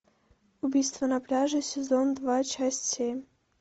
убийство на пляже сезон два часть семь